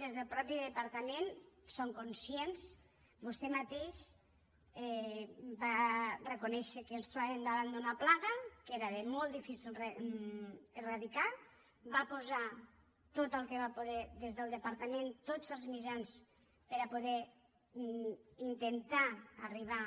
des del mateix departament són conscients vostè mateix va reconèixer que estàvem davant d’una plaga que era molt difícil d’eradicar va posar tot el que va poder des del departament tots els mitjans per a poder intentar arribar